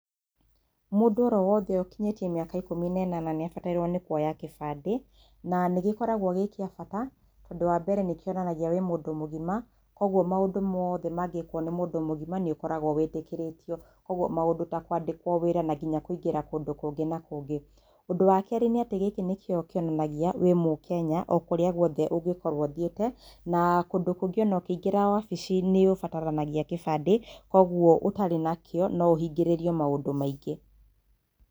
Mũndũ oro wothe ũkinyĩtie mĩaka ikũmi na ĩnana nĩabatairwo nĩ kuoya gĩbandĩ, na nĩgĩkoragwo gĩ kĩa bata, ũndũ wa mbere nĩkionanagia wĩ mũndũ mũgima, koguo maũndũ mothe mangĩkwo nĩ mũndũ mũgima nĩũkoragwo wĩtĩkĩrĩtio. Koguo maũndũ ta kwandĩkwo wĩra na nginya kũingĩra kũndũ kũngĩ na kũngĩ. Ũndũ wa kerĩ nĩ atĩ gĩkĩ nĩkio kĩonanagia wĩ mũkenya o kũrĩa guothe ũngĩkorwo ũthiĩte na kũndũ kũngĩ ona ũkĩingĩra wabici nĩũbataranagia gĩbandĩ, koguo ũtarĩ nakĩo no ũhingĩrĩrio maũndũ maingĩ.